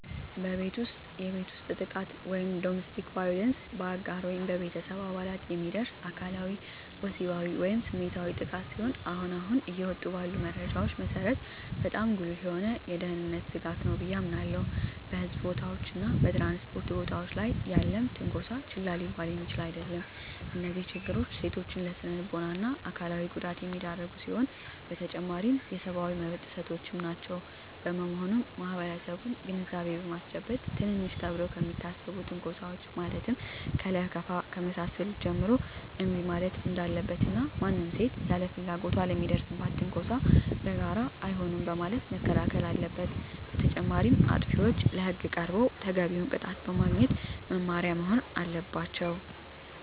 በቤት ውስጥ የቤት ውስጥ ጥቃት (Domestic Violence): በአጋር ወይም በቤተሰብ አባላት የሚደርስ አካላዊ፣ ወሲባዊ ወይም ስሜታዊ ጥቃት ሲሆን አሁን አሁን እየወጡ ባሉ መረጃዎች መሰረት በጣም ጉልህ የሆነ የደህንነት ስጋት ነው ብየ አምናለሁ። በሕዝብ ቦታዎች እና በ ትራንስፖርት ቦታወች ላይ ያለም ትነኮሳ ችላ ሊባል የሚችል አደለም። እነዚህ ችግሮች ሴቶችን ለስነልቦና እና አካላዊ ጉዳት የሚዳርጉ ሲሆኑ በተጨማሪም የሰብአዊ መብት ጥሰቶችም ናቸው። በመሆኑም ማህበረሰቡን ግንዛቤ በማስጨበጥ ትንንሽ ተብለው ከሚታሰቡ ትንኮሳወች ማለትም ከለከፋ ከመሳሰሉት ጀምሮ እንቢ ማለት እንዳለበት እና ማንም ሴት ያለ ፍላጎቷ ለሚደርስባት ትንኮሳ በጋራ አይሆንም በማለት መከላከል አለበት። በተጨማሪም አጥፊዎች ለህግ ቀርበው ተገቢውን ቅጣት በማግኘት መማሪያ መሆን አለባቸው።